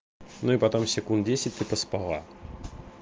ну и потом секунд десять ты поспала